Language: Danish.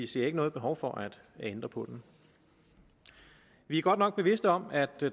ser noget behov for at ændre på den vi er godt nok bevidst om at